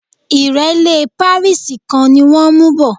ìrẹ́lẹ́ pàríìsì kan ni wọ́n mú bọ̀